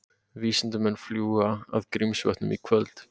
Vísindamenn fljúga að Grímsvötnum í kvöld